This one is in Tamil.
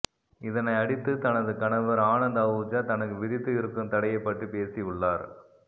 இதனை அடித்து தனது கணவர் ஆனந்த் அஹூஜா தனக்கு விதித்து இருக்கும் தடையை பற்றி பேசி உள்ளார்